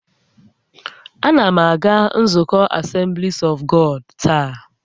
A na m aga nzukọ Asemblis ọf Gọd taa